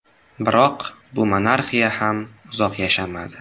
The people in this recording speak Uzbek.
Biroq bu monarxiya ham uzoq yashamadi.